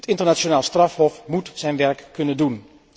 Het internationaal strafhof moet zijn werk kunnen doen.